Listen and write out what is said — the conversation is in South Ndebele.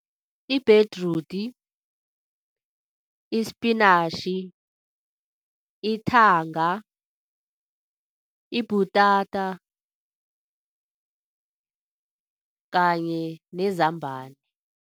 Ibhedrudi, ispinatjhi, ithanga, ibhutata kanye nezambani.